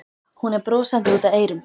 Hún er brosandi út að eyrum.